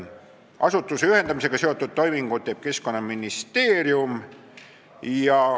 Asutuste ühendamisega seotud toimingud teeb Keskkonnaministeerium.